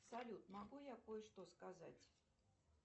салют могу я кое что сказать